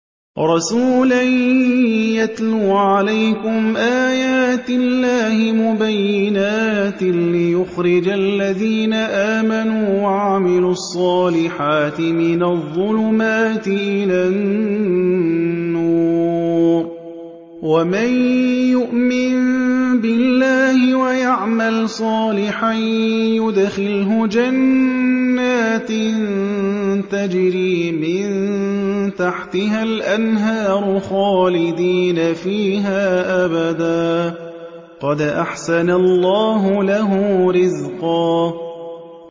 رَّسُولًا يَتْلُو عَلَيْكُمْ آيَاتِ اللَّهِ مُبَيِّنَاتٍ لِّيُخْرِجَ الَّذِينَ آمَنُوا وَعَمِلُوا الصَّالِحَاتِ مِنَ الظُّلُمَاتِ إِلَى النُّورِ ۚ وَمَن يُؤْمِن بِاللَّهِ وَيَعْمَلْ صَالِحًا يُدْخِلْهُ جَنَّاتٍ تَجْرِي مِن تَحْتِهَا الْأَنْهَارُ خَالِدِينَ فِيهَا أَبَدًا ۖ قَدْ أَحْسَنَ اللَّهُ لَهُ رِزْقًا